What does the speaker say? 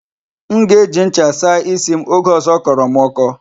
M ga-eji ncha saa isi m oge ọzọ ọ kọrọ m ọkọ.